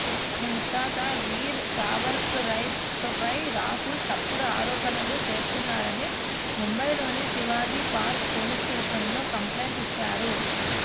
తమ ముత్తాత వీర్ సావర్కర్పై రాహుల్ తప్పుడు ఆరోపణలు చేస్తున్నారని ముంబైలోని శివాజీ పార్క్ పోలీసు స్టేషన్లో కాంప్లైంట్ ఇచ్చారు